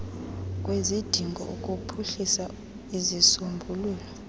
kwezidingo ukuphuhlisa izisombululo